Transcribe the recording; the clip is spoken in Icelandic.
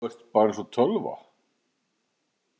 Þú ert bara eins og tölva!